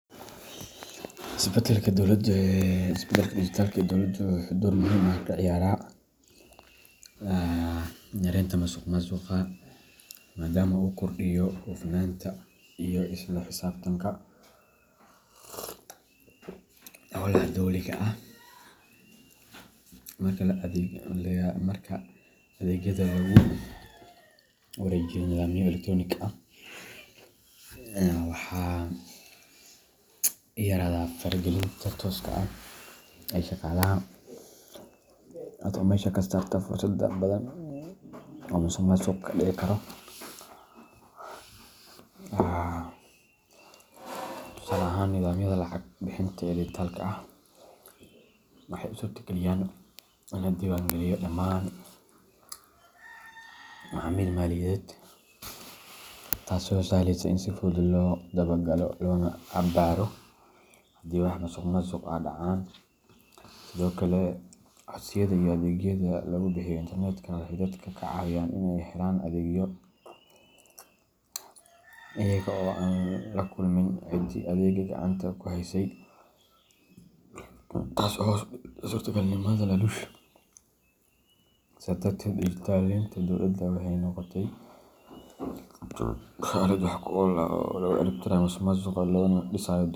Isbeddelka dijitaalka ah ee dowladda wuxuu door muhiim ah ka ciyaaraa yareynta musuqmaasuqa, maadaama uu kordhiyo hufnaanta iyo isla xisaabtanka howlaha dowliga ah. Marka adeegyada lagu wareejiyo nidaamyo elektaroonig ah, waxaa yaraada faragelinta tooska ah ee shaqaalaha, taasoo meesha ka saarta fursado badan oo musuqmaasuq ka dhici karo. Tusaale ahaan, nidaamyada lacag bixinta ee dijitaalka ah waxay u suurtageliyaan in la diiwaangeliyo dhammaan macaamilka maaliyadeed, taasoo sahleysa in si fudud loo daba galo loona baaro haddii wax musuqmaasuq ah dhacaan. Sidoo kale, codsiyada iyo adeegyada lagu bixiyo internet-ka waxay dadka ka caawiyaan in ay helaan adeegyo iyaga oo aan la kulmin ciddii adeegga gacanta ku haysay, taasoo hoos u dhigta suurtagalnimada laaluush. Sidaas darteed, dijitaleynta dowladda waxay noqotay aalad wax ku ool ah oo lagu cirib tirayo musuqmaasuqa loogana dhisayo dowlad.